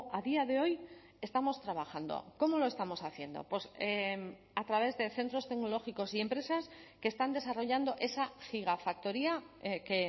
a día de hoy estamos trabajando cómo lo estamos haciendo a través de centros tecnológicos y empresas que están desarrollando esa gigafactoría que